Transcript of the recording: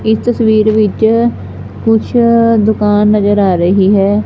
ਇਸ ਤਸਵੀਰ ਵਿੱਚ ਕੁਛ ਦੁਕਾਨ ਨਜ਼ਰ ਆ ਰਹੀ ਹੈ।